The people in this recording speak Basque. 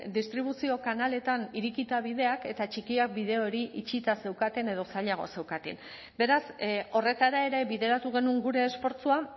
distribuzio kanaletan irekita bideak eta txikiak bide hori itxita zeukaten edo zailagoa zeukaten beraz horretara ere bideratu genuen gure esfortzua